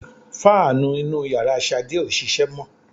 Fáànù inú yàrá Ṣàdé ò ṣiṣẹ́ mọ́